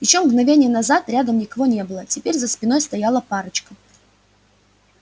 ещё мгновение назад рядом никого не было теперь за спиной стояла парочка